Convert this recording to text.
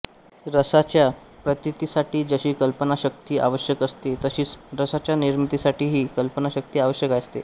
रसाच्या प्रतीतीसाठी जशी कल्पनाशक्ती आवश्यक असते तशीच रसाच्या निर्मितीसाठीही कल्पनाशक्ती आवश्यक असते